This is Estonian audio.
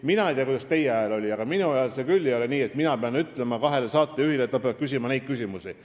Mina ei tea, kuidas teie ajal oli, aga minu ajal ei ole küll nii, et mina pean kahele saatejuhile ütlema, et nad peavad küsima neid või teisi küsimusi.